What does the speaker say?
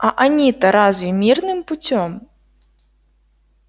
а они-то разве мирным путём